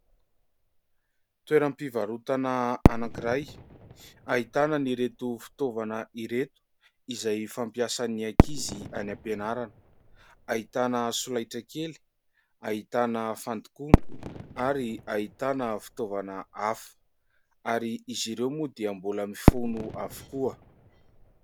Toeram-pivarotana anankiray ahitana ny reto fitaovana ireto izay fampiasan'ny akizy any ampianarana ahitana solaitra kely, hahitana fandokoana, ary hahitana fitaovana afa. Ary izy ireo moa dia mbola mifono avokoa.